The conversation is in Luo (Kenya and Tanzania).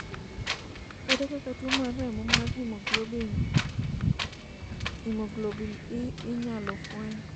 ere kaka tuo mar remo mar haemoglobin E inyalo fweny?